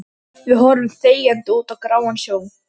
Við horfum þegjandi út á gráan sjó.